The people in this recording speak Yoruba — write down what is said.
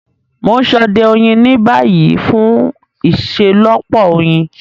Mo n sode oyin ni bayi fun iṣelọpọ oyin.